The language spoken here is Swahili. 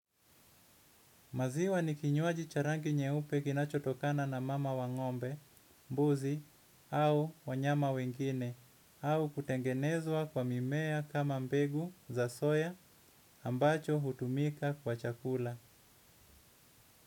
Maziwa ni kinywaji cha rangi nyeupe kinachotokana na mama wa ng'ombe jike, mbuzi au wanyama wengine, au kutengenezwa kwa mimea kama mbegu za soya. Ambacho hutumika kwa chakula.